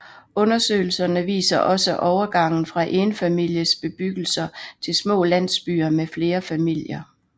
Undersøgelserne viser også overgangen fra enfamilies bebyggelser til små landsbyer med flere familier